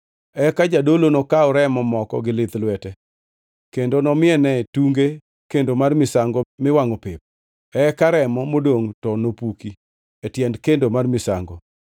Eka jadolo nokaw remo moko gi lith lwete kendo nomiene tunge kendo mar misango miwangʼo pep, eka remo modongʼ to nopuki e tiend kendo mar misango.